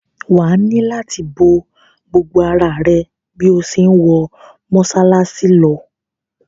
Wà á nílò láti bo gbogbo ara rẹ bí o ṣe ń wọ mọ́ṣáláṣí lọ.